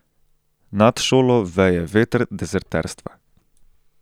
Nad šolo veje veter dezerterstva.